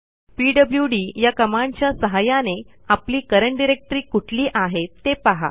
PWD या कमांडच्या सहाय्याने आपली करंट डायरेक्टरी कुठली आहे ते पहा